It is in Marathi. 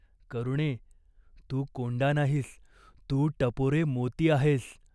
करुणे, तू कोंडा नाहीस. तू टपोरे मोती आहेस.